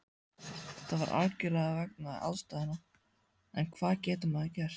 Það var algjörlega vegna aðstæðna, en hvað getur maður gert?